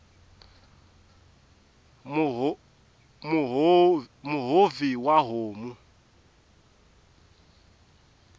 muhovhi wa homu